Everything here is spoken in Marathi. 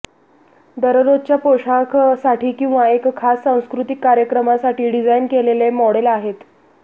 दररोजच्या पोशाखसाठी किंवा एका खास सांस्कृतिक कार्यक्रमासाठी डिझाइन केलेले मॉडेल आहेत